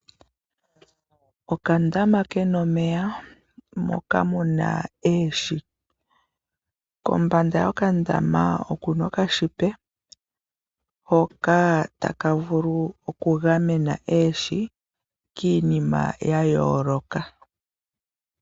Oka dama kena omeya, moka muna oohi, kombanda yokandama okuna oka shipe hoka ta ka vulu oku gamena oohi, kiinima ya yooloka.